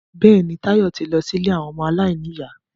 Bẹ́ẹ̀ni, Táyọ̀ ti lọ sí ilé àwọn ọmọ aláìníyà